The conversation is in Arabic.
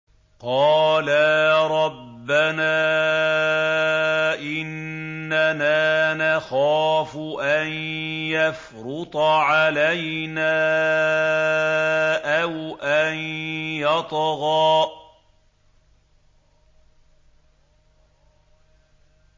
قَالَا رَبَّنَا إِنَّنَا نَخَافُ أَن يَفْرُطَ عَلَيْنَا أَوْ أَن يَطْغَىٰ